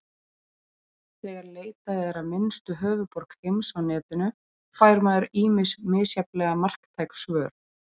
Þegar leitað er að minnstu höfuðborg heims á netinu, fær maður ýmis misjafnlega marktæk svör.